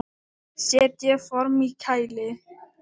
Setjið formin í kæli.